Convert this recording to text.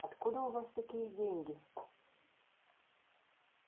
откуда у вас такие деньги